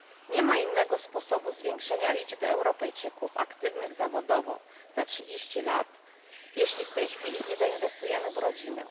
Nie ma innego sposobu zwiększenia liczby Europejczyków aktywnych zawodowo za trzydzieści lat, jeśli w tej chwili nie zainwestujemy w rodzinę.